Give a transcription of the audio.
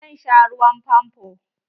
Zan sha ruwan famfo.